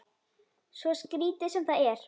Svo skrítið sem það er.